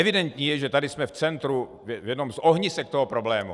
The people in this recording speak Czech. Evidentní je, že tady jsme v centru, v jednom z ohnisek toho problému.